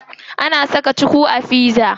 Ana saka cuku a pizza.